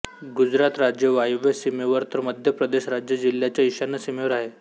गुजरात राज्य वायव्य सीमेवर तर मध्य प्रदेश राज्य जिल्ह्याच्या ईशान्य सीमेवर आहे